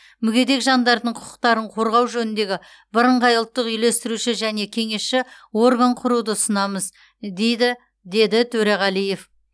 мүгедек жандардың құқықтарын қорғау жөніндегі бірыңғай ұлттық үйлестіруші және кеңесші орган құруды ұсынамыз дейді деді төреғалиев